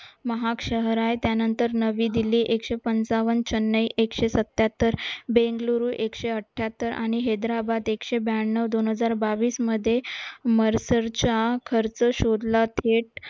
महाग शहर आहेत त्यानंतर नवी दिल्ली एकशे पंचावन्न, चेन्नई एकशे सत्याहत्तर, बेंगलोर एकशे अठ्ठेहत्तर आणि हैदराबाद एकशे ब्याण्णव दोन हजार बावीस मध्ये मध्ये मर्शलचा खर्च शोधला